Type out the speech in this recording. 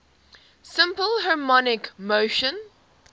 simple harmonic motion